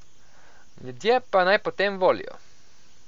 Ljudje pa naj potem volijo.